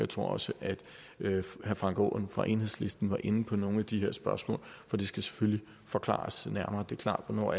tror også at herre frank aaen fra enhedslisten var inde på nogle af de spørgsmål og det skal selvfølgelig forklares nærmere det er klart hvornår